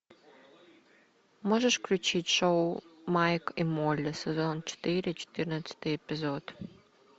можешь включить шоу майк и молли сезон четыре четырнадцатый эпизод